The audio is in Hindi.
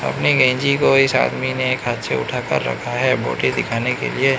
अपने गंजी को इस आदमी ने एक हाथ से उठा कर रखा है बॉडी दिखाने के लिए।